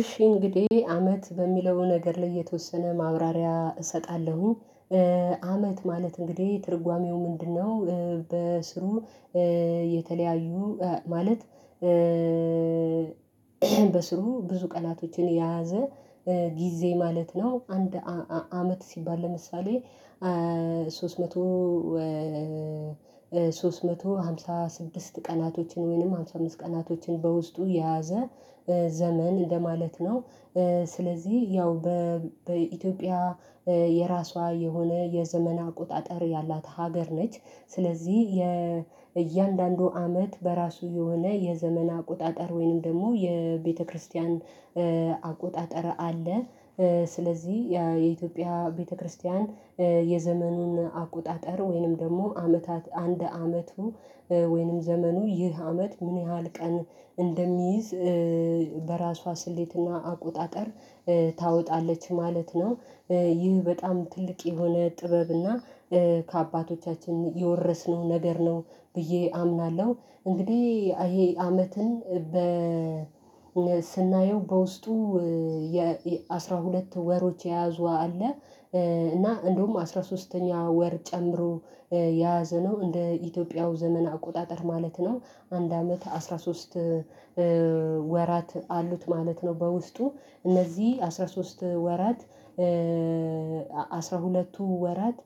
እሺ እንግዲህ አመት በሚለው ነገር ላይ የተወሰነ ማብራሪያ እሰጣለሁ። አመት ማለት እንግዲህ ትርጓሜው ምንድነው በስሩ? የተለያዩ ማለት። በስሩ ብዙ ቀናቶችን የያዘ ጊዜ ማለት ነው። አንድ አመት ሲባል ለምሳሌ። ሶስት መቶ ሶስት መቶ ሃምሳ ስድስት ቀናቶችን ወይንም ሃምሳ አምስት ቀናቶችን በውስጡ የያዘ ዘመን እንደማለት ነው። ስለዚህ ያው በኢትዮጵያ የራሷ የሆነ የዘመን አቆጣጠር ያላት ሀገር ነች። ስለዚህ የእያንዳንዱ አመት በራሱ የሆነ የዘመን አቆጣጠር ወይንም ደግሞ የቤተክርስቲያን አቆጣጠር አለ። ስለዚህ የኢትዮጵያ ቤተክርስቲያን የዘመኑን አቆጣጠር ወይንም ደግሞ አመታት አንድ አመቱ ወይንም ዘመኑ ይህ አመት ምን ያህል ቀን እንደሚይዝ በራሷ ስሌትና አቆጣጠር ታወጣለች ማለት ነው። ይህ በጣም ትልቅ የሆነ ጥበብና ከአባቶቻችን የወረስነው ነገር ነው ብዬ አምናለሁ። እንግዲህ ይሄ አመትን በ ስናየው በውስጡ የ አስራ ሁለት ወሮች የያዙ አለ። እና እንደውም አስራ ሶስተኛ ወር ጨምሮ የያዘ ነው እንደ ኢትዮጵያው ዘመን አቆጣጠር ማለት ነው። አንድ አመት አስራ ሶስት ወራት አሉት ማለት ነው። በውስጡ እነዚህ አስራ ሶስት ወራት አስራ ሁለቱ ወራት